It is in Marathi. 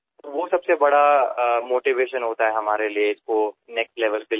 मुले ही सर्वात मोठी प्रेरणा असतात त्यामुळे आम्हाला त्या सर्वांना पुढे घेऊन जावे लागले